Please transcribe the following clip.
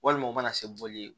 Walima u mana se bɔli ye